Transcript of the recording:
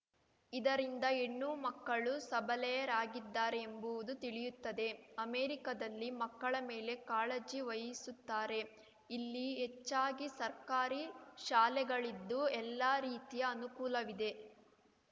ಇದರಿಂದ ಹೆಣ್ಣು ಮಕ್ಕಳು ಸಬಲೆಯರಾಗಿದ್ದಾರೆಂಬುದು ತಿಳಿಯುತ್ತದೆ ಅಮೆರಿಕದಲ್ಲಿ ಮಕ್ಕಳ ಮೇಲೆ ಕಾಳಜಿ ವಹಿಸುತ್ತಾರೆ ಇಲ್ಲಿ ಹೆಚ್ಚಾಗಿ ಸರ್ಕಾರಿ ಶಾಲೆಗಳಿದ್ದು ಎಲ್ಲ ರೀತಿಯ ಅನುಕೂಲವಿದೆ